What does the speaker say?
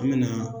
An me na